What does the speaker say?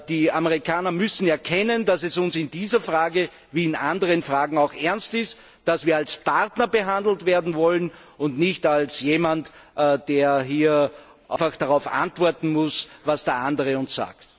Die Amerikaner müssen erkennen, dass es uns in dieser Frage wie in anderen Fragen auch ernst ist, dass wir als Partner behandelt werden wollen und nicht als jemand, der hier einfach darauf antworten muss, was der andere uns sagt.